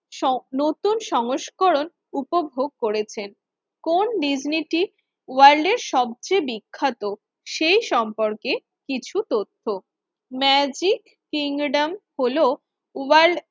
স নতুন সংস্করণ উপভোগ করেছেন। কোন ডিজনীটি ওয়ার্ল্ড এর সবচেয়ে বিখ্যাত সেই সম্পর্কে কিছু তথ্য, ম্যাজিক কিংডম হলো ওয়ার্ল্ড